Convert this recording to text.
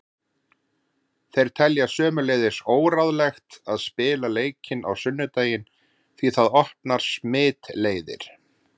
Þeir telja sömuleiðis óráðlegt að spila leikinn á sunnudaginn því það opnar smitleiðir.